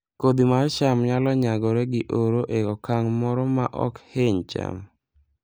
Kodhi mar cham nyalo nyagore gi oro e okang' moro maok hiny cham